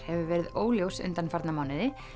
hefur verið óljós undanfarna mánuði